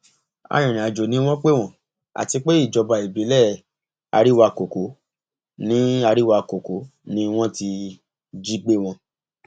arìnrìnàjò ni wọn pè wọn àti pé ìjọba ìbílẹ àríwáàkókò ni àríwáàkókò ni wọn ti jí gbé wọn